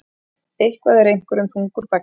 Eitthvað er einhverjum þungur baggi